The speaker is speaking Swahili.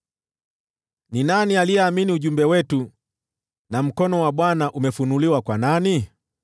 Ni nani aliyeamini ujumbe wetu, na mkono wa Bwana umefunuliwa kwa nani?